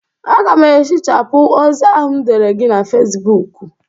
Aga m ehichapụ ozi ahụ m dere gị na Fesibuuku.